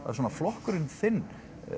svona flokkurinn þinn